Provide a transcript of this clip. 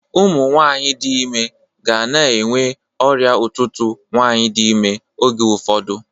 Ụmụnwaanyị dị ime gana enwe ọrịa ụtụtụ nwaanyị dị ime oge ụfọdụ.